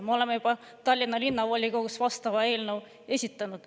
Me oleme juba Tallinna Linnavolikogus vastava eelnõu esitanud.